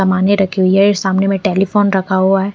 समाने रखी हुई है सामने में टेलीफोन रखा हुआ है।